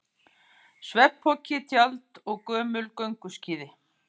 Svefnpoki, tjald og gömul gönguskíði.